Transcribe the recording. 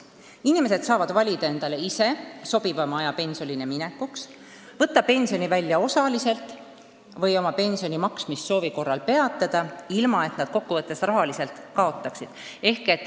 Inimesed saavad valida endale sobivaima aja pensionile minekuks, võtta pensioni välja osaliselt või oma pensioni maksmist peatada, ilma et nad kokku võttes rahas kaotaksid.